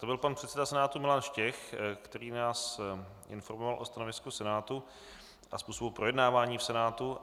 To byl pan předseda Senátu Milan Štěch, který nás informoval o stanovisku Senátu a způsobu projednávání v Senátu.